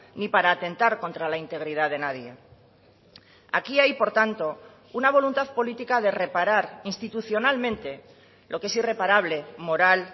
ni para atentar contra la integridad de nadie aquí hay por tanto una voluntad política de reparar institucionalmente lo que es irreparable moral